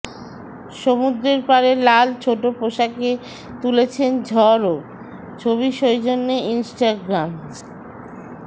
সমুদ্রের পারে লাল ছোট পোশাকে তুলেছেন ঝড়ও ছবি সৌজন্যে ইনস্টাগ্রাম